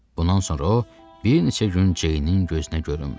Bundan sonra o bir neçə gün Ceynin gözünə görünmədi.